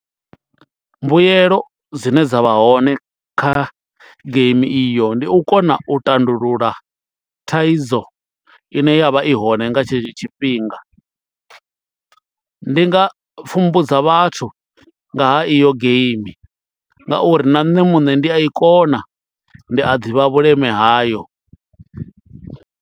Mbuyelo dzine dza vha hone kha geimi iyo ndi u kona u tandulula thaidzo ine ya vha i hone nga tshetsho tshifhinga. Ndi nga pfhumbudza vhathu nga ha iyo geimi ngauri na nṋe muṋe ndi a i kona ndi a ḓivha vhuleme hayo.